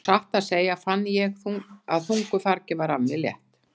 Og satt að segja fann ég að þungu fargi var af mér létt.